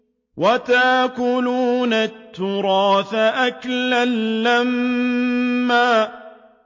وَتَأْكُلُونَ التُّرَاثَ أَكْلًا لَّمًّا